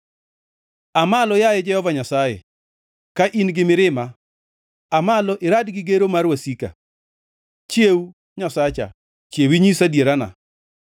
Aa malo, yaye Jehova Nyasaye, ka in gi mirima aa malo irad gi gero mar wasika. Chiew, Nyasacha; chiew inyis adierana.